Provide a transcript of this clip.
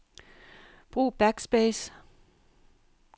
Brug backspace.